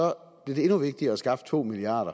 blev det endnu vigtigere at skaffe to milliard